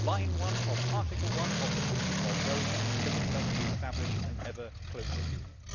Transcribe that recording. Line 1 of Article 1 of the Treaty of Rome commits us to establish an ever closer Union.